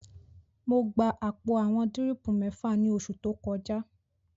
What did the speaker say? Mo gba àpò àwọn dírìpù mẹ́fà ní oṣù tó kọjá